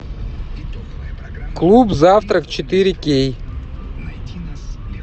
клуб завтрак четыре кей